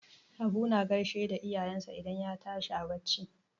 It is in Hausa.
Habu na gashe da iyayensa idan ya tashi a barci.